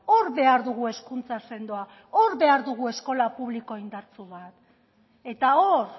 hor behar dugu hezkuntza sendoa behar dugu eskola publiko indartsu bat eta hor